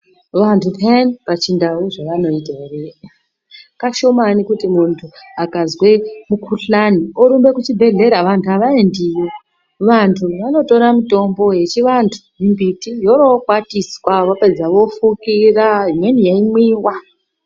Vantu peyani pachindau zvevanoita here kashomani kuti muntu akazwe mukuhlani orumbe kuchibhedhlera vantu havaendiyo. Vantu vanotora mitombo yechivantu, mimbiti yoorokwatiswa vopedza vofukira imweni yeimwiwa.